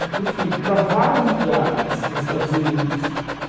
Enfim, para vários lugares dos Estados Unidos.